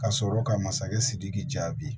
Ka sɔrɔ ka masakɛ sidiki jaabi